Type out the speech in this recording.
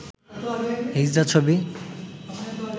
হিজড়া ছবি